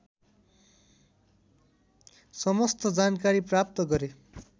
समस्त जानकारी प्राप्त गरे